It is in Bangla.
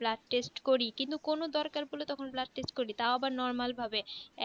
blood test করি কিন্তু কোনো দরকার পড়লে তখন আবার blood test করি তাও আবার normal ভাবে